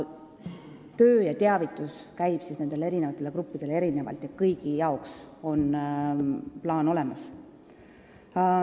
Kogu teavitus eri gruppidele käib erinevalt, aga kõigi jaoks on plaan olemas.